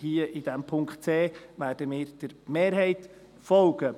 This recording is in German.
Hier, bei diesem Punkt c, werden wir der Mehrheit folgen.